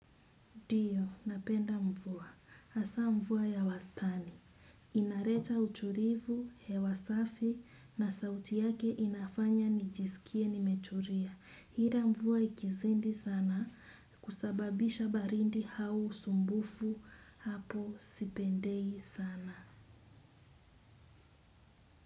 Ndio, napenda mvua. Hasa mvua ya wastani. Inarecha utulivu, hewa safi na sauti yake inafanya nijiskie nimetulia. Hila mvua ikizidi sana, husababisha baridi au usumbufu hapo sipendei sana.